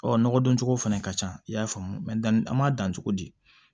Ɔ nɔgɔ don cogo fana ka ca i y'a faamu danni an m'a dan cogo di